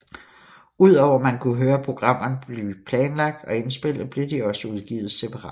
Ud over at man kunne høre programmerne blive planlagt og indspillet blev de også udgivet separat